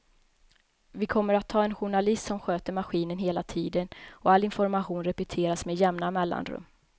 Vi kommer att ha en journalist som sköter maskinen hela tiden och all information repeteras med jämna mellanrum.